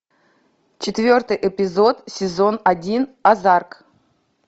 четвертый эпизод сезон один озарк